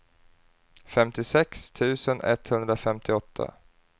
femtiosex tusen etthundrafemtioåtta